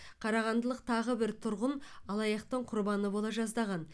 қарағандылық тағы бір тұрғын алаяқтықтың құрбаны бола жаздаған